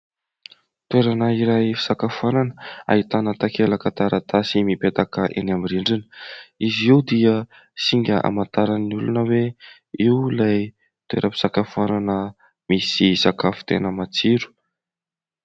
toerana iray fisakafoanana ahitana takelaka taratasy mipetaka eny amin'ny rindrina izy io dia singa hamantaran'ny olona hoe io ilay toeram-pisakafoanana misy sakafo tena matsiro